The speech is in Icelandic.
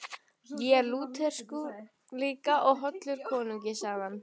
Ég er Lúterskur líka og hollur konungi, sagði hann.